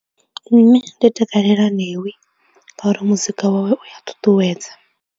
Nṋe ndi takalela Ṋewi ngauri muzika wawe u a ṱuṱuwedza.